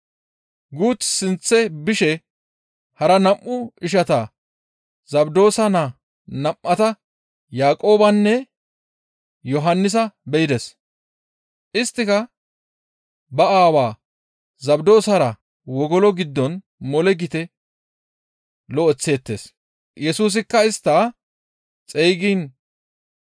Guuth sinththe bishe hara nam7u ishantta Zabdoosa naa nam7ata Yaaqoobenne Yohannisa be7ides; isttika ba aawa Zabdoosara wogolo giddon mole gite lo7eththeettes. Yesusikka istta xeygiin